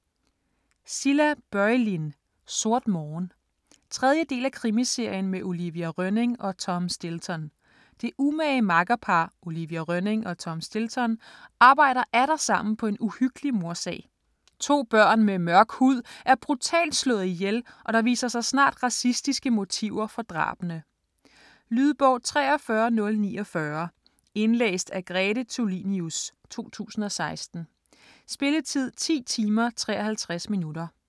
Börjlind, Cilla: Sort morgen 3. del af krimiserien med Olivia Rönning og Tom Stilton. Det umage makkerpar, Olivia Rönning og Tom Stilton, arbejder atter sammen på en uhyggelig mordsag. To børn med mørk hud er brutalt slået ihjel, og der viser sig snart racistiske motiver for drabene. Lydbog 43049 Indlæst af Grete Tulinius, 2016. Spilletid: 10 timer, 53 minutter.